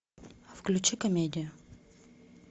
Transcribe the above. включи комедию